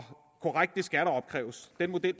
korrekt skal der opkræves den model